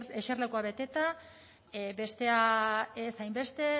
eserlekua beteta bestea ez hainbeste